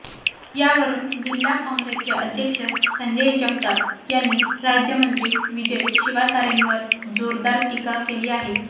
यावरुन जिल्हा काँग्रेसचे अध्यक्ष संजय जगताप यांनी राज्यमंत्री विजय शिवातारेंवर जोरदर टीका केली आहे